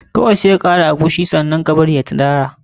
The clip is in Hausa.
Kawai sai ka kara eguisi ka bari ya tirara.